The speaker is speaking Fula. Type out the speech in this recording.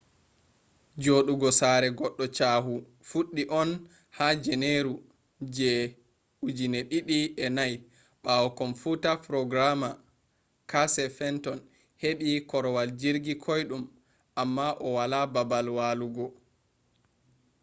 jodugo sare goddo chahu fuddi on ha janeru je 2004 bawo komfuta programmer casey fenton hebi korwal jirgi koidum amma o wala babal walugo